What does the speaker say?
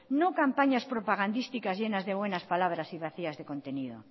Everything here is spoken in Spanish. no campañas propagandísticas llenas de buenas palabras y vacías de contenido